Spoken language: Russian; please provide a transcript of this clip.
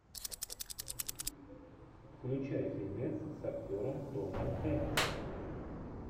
включай фильмец с актером томом хенксом